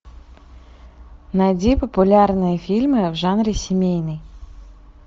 найди популярные фильмы в жанре семейный